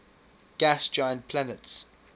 gas giant planets